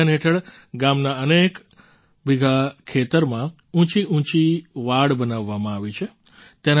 આ અભિયાન હેઠળ ગામના અનેક બીઘા ખેતરમાં ઊંચીઊંચી વાડ બનાવવામાં આવી છે